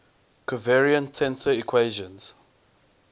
covariant tensor equations